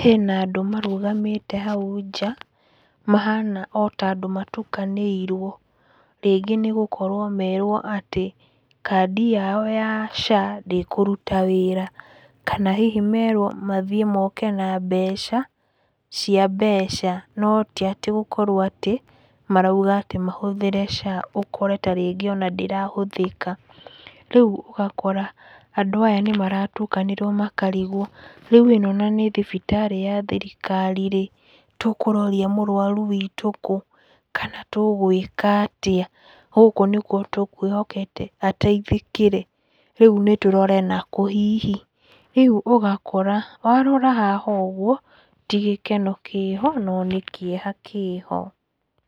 hena andũ marũgamĩte hau nja, mahana ota andũ matukanĩirwo rĩngĩ nĩ gũkorwo merwo atĩ kandi yao ya SHA ndĩkũruta wĩra. Kana hihi merwo mathiĩ moke na mbeca cia mbeca, no tiatĩ gũkorwo atĩ marauga atĩ mahũthĩre SHA ũkore tarĩngĩ ona ndĩrahũthĩka. Rĩu ũgakora andũ aya nĩmaratukanĩrwo makarigwo, rĩu ĩno na nĩ thibitarĩ ya thirikari-rĩ, tũkũroria mũrwaru wĩtũ kũ? kana tũgũĩka atĩa? gũkũ nĩkwo tũkwĩhokete ateithĩkĩre, rĩu nĩtũrore nakũ hihi? Rĩũ ũgakora warora haha ũgwo, ti gĩkeno kĩho no nĩ kĩeha kĩho.